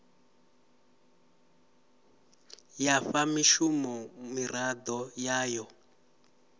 ya fha mushumo miraḓo yayo